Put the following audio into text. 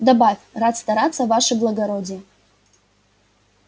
добавь рад стараться ваше благородие